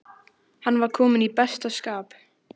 Hann var kominn í besta skap.